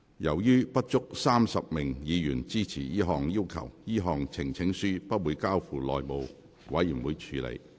由於不足35名議員支持這項要求，這項呈請書不會交付內務委員會處理。